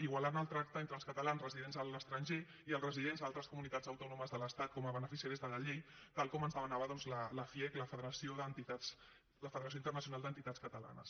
igualant el tracte entre els catalans residents a l’estranger i els residents a altres comunitats autònomes de l’estat com a beneficiàries de la llei tal com ens demanava doncs la fiec la federació internacional d’entitats catalanes